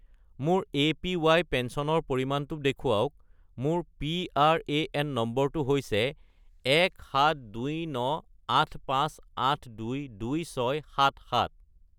মোৰ এপিৱাই পেঞ্চনৰ পৰিমাণটো দেখুৱাওক, মোৰ পিআৰএএন নম্বৰটো হৈছে 172985822677